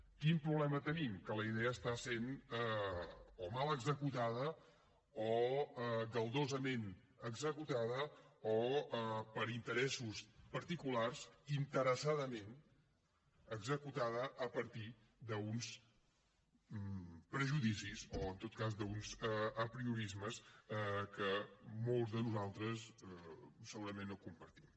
quin problema tenim que la idea està sent o mal executada o galdosament executada o per interessos particulars interessadament executada a partir d’uns prejudicis o en tot cas d’uns apriorismes que molts de nosaltres segurament no compartim